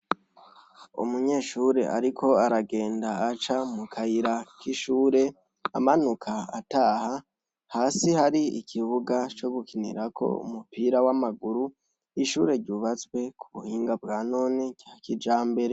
Umunyeshure ariko aragenda aca mu kayira k'ishuri amanuka ataha. Hasi hari ikibuga co gukinirako umupira w'amaguru. Ishure ryubatswe ku buhinga bwa none , kijambere.